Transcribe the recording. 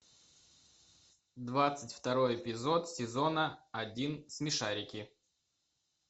двадцать второй эпизод сезона один смешарики